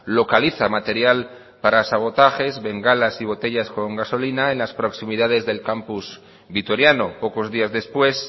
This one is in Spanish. localiza material para sabotajes bengalas y botellas con gasolina en las proximidades del campus vitoriano pocos días después